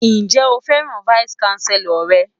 Ǹjẹ́ o fẹ́ràn vice chancellor rẹ̀?